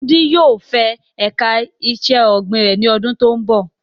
Wudil yóò fẹ ẹ̀ka iṣẹ́ ọ̀gbìn rẹ̀ ní àwọn ọdún tó ń bọ̀.